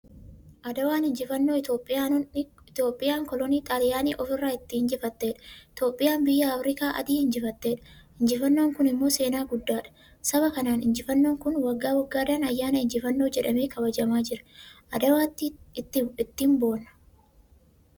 Adawaan injifannoo Itiyoophiyaan kolonii Xaaliyanii ofirraa itti injifatteedha. Itiyoophiyaan biyya afrikaa Adii injifatteedha. Injifannoon kun immoo seenaa guddaadhan. Saba kanaan injifannoon kun waggaa waggaadhan ayyaana injifannoo jedhamee kabajamaa jira. Adawaa ittiin boonna.